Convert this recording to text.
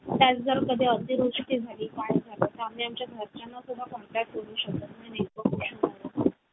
एकोणीवीशे व्या शतकात बांधलेल्या पिढी जात घराचे आमचे वास्तव्य होते. विटा अजून खडीने बांधलेले ते पक्क्या बांधणीचे घर रामेश्वर ची मशीद असलेल्या रस्त्यावर होते.